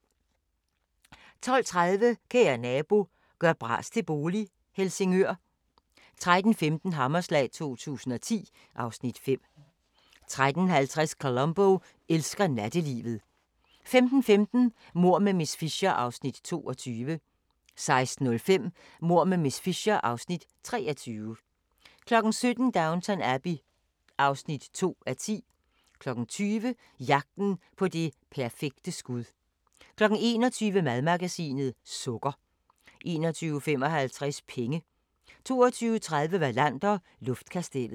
12:30: Kære nabo – gør bras til bolig - Helsingør 13:15: Hammerslag 2010 (Afs. 5) 13:50: Columbo elsker nattelivet 15:15: Mord med miss Fisher (Afs. 22) 16:05: Mord med miss Fisher (Afs. 23) 17:00: Downton Abbey (2:10) 20:00: Jagten på det perfekte skud 21:00: Madmagasinet – Sukker 21:55: Penge 22:30: Wallander: Luftkastellet